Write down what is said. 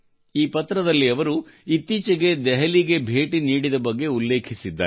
ಈ ಪತ್ರದಲ್ಲಿ ಅವರು ಇತ್ತೀಚೆಗೆ ದೆಹಲಿಗೆ ಭೇಟಿ ನೀಡಿದ ಬಗ್ಗೆ ಉಲ್ಲೇಖಿಸಿದ್ದಾರೆ